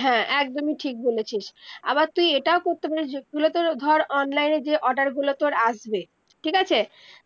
হ্যা একদমি ঠিক বলেছিস আবার তুই এটাও করতে পারিস যে যেগুলো তর ধর online এ যে order গুলো তর আসবে ঠিক আছে